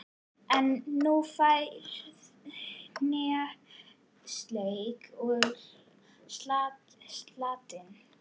En þú færð hnetusteik með salati.